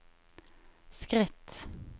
skritt